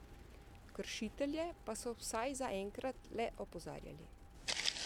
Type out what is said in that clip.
Kršitelje pa so vsaj zaenkrat le opozarjali.